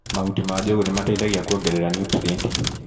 Mahuti ma njũgũ nĩmateithagia kũongerera nutrienti.